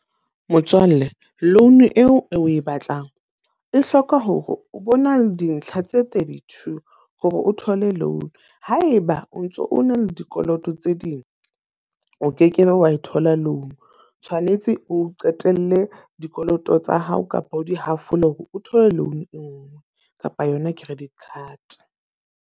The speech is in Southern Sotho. Motswalle, loan eo o e batlang. E hloka hore o bo na le dintlha tse thirty-two hore o thole loan. Haeba o ntso o na le dikoloto tse ding o ke ke be wa e thola loan. Tshwanetse o qetelle dikoloto tsa hao kapa o di hafole hore o thole loan e nngwe kapa yona credit card.